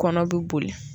Kɔnɔ bɛ boli